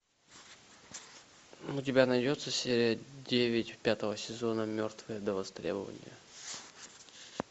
у тебя найдется серия девять пятого сезона мертвые до востребования